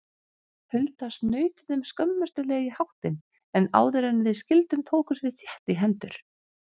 Hulda snautuðum skömmustuleg í háttinn, en áðuren við skildum tókumst við þétt í hendur.